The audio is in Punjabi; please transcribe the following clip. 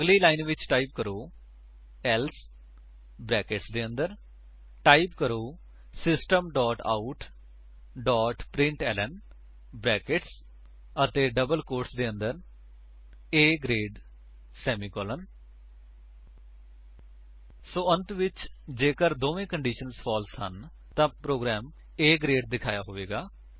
ਅਗਲੀ ਲਕੀਰ ਵਿੱਚ ਟਾਈਪ ਕਰੋ elseਬਰੈਕੇਟਸ ਦੇ ਅੰਦਰ ਟਾਈਪ ਕਰੋ system dot out dot println brackets ਅਤੇ ਡਬਲ ਕੋਟਸ ਦੇ ਅੰਦਰ A ਗਰੇਡਸੇਮੀਕੋਲਨ ਸੋ ਅੰਤ ਵਿਚ ਜੇਕਰ ਦੋਵੇਂ ਕੰਡੀਸ਼ੰਸ ਫਾਲਸ ਹਨ ਤਾਂ ਪ੍ਰੋਗਰਾਮ A ਗਰੇਡ ਦਿਖਾਇਆ ਹੋਵੇਗਾ